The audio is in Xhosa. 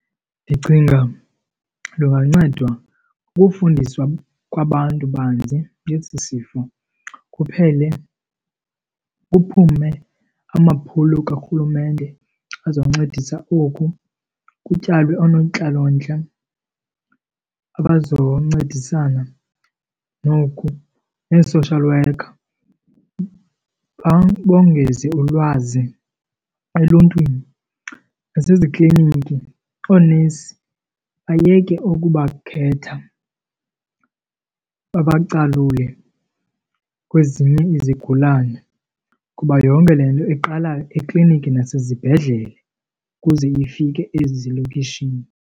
Ndicinga lungancedwa kukufundiswa kwabantu banzi ngesi sifo kuphele kuphume amaphulo karhulumente azoncedisa oku, kutyalwe oonontlalontle abazoncedisana noku nee-social worker, bongeze ulwazi eluntwini. Nasezikliniki oonesi bayeke ukuba khetha babacalule kwezinye izigulane kuba yonke le nto iqala ekliniki nasezibhedlele ukuze ifike ezilokishini.